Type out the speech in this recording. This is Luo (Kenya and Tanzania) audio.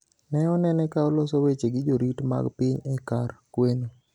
ne onene ka oloso weche gi jorit mag piny e kar kweno.